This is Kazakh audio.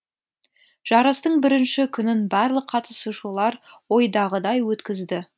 жарыстың бірінші күнін барлық қатысушылар ойдағыдай өткізді